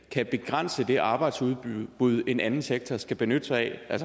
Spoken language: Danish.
kan begrænse det arbejdsudbud en anden sektor skal benytte sig af